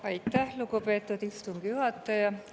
Aitäh, lugupeetud istungi juhataja!